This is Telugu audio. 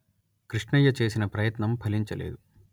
కృష్ణయ్య చేసిన ప్రయత్నం ఫలించలేదు